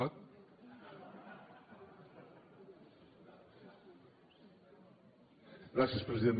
gràcies president